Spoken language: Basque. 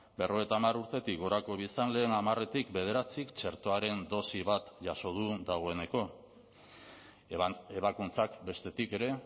berrogeita hamar urtetik gorako biztanleen hamarretik bederatzik txertoaren dosi bat jaso du dagoeneko ebakuntzak bestetik ere